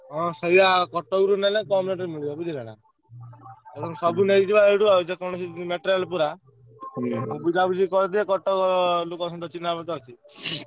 ହଁ ସେଇଆ କଟକ ରୁ ନେଲେ କମ rate ରେ ମିଳିବ ସବୁ ନେଇଯିବା ଏଇଠୁ ଆଉ ଯେ କୌଣସି material ପୁରା ବୁଝା ବୁଝି କରିଦିଏ କଟକ ରୁ ଲୋକ ଚିହ୍ନା ଅଛନ୍ତି।